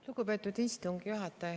Lugupeetud istungi juhataja!